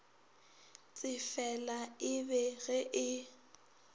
tsefela e be ge e